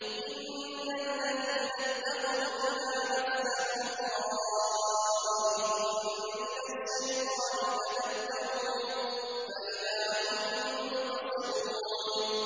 إِنَّ الَّذِينَ اتَّقَوْا إِذَا مَسَّهُمْ طَائِفٌ مِّنَ الشَّيْطَانِ تَذَكَّرُوا فَإِذَا هُم مُّبْصِرُونَ